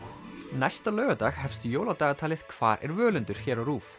næsta laugardag hefst jóladagatalið hvar er Völundur hér á RÚV